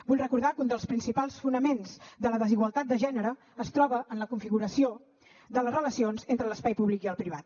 vull recordar que un dels principals fonaments de la desigualtat de gènere es troba en la configuració de les relacions entre l’espai públic i el privat